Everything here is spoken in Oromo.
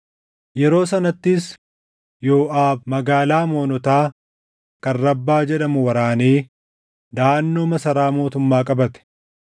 Yeroo sanattis Yooʼaab magaalaa Amoonotaa kan Rabbaa jedhamu waraanee daʼannoo masaraa mootummaa qabate.